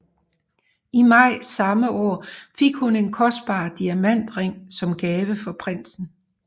I maj samme år fik hun en kostbar diamantring som gave fra prinsen